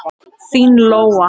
Þín Lóa.